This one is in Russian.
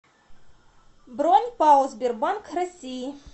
бронь пао сбербанк россии